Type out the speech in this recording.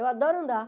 Eu adoro andar.